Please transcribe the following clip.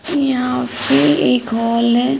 यहाँ पे एक हॉल है।